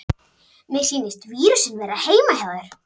Mér sýnist vírusinn vera heima hjá þér.